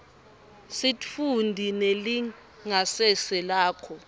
sitfunti nelingasese lakho